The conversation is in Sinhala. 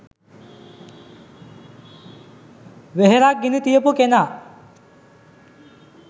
වෙහෙරක් ගිනි තියපු කෙනා